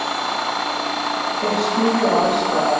Þeir smjúga alls staðar.